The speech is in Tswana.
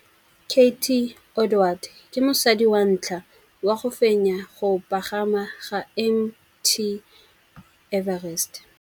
Cathy Odowd ke mosadi wa ntlha wa go fenya go pagama ga Mt Everest.